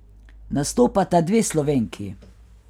Nastopata dve Slovenki.